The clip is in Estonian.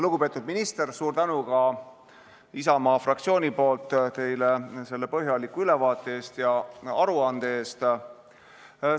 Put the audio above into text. Lugupeetud minister, suur tänu ka Isamaa fraktsiooni poolt teile selle põhjaliku ülevaate ja aruande eest!